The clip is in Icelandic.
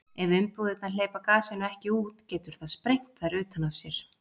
ef umbúðirnar hleypa gasinu ekki út getur það sprengt þær utan af sér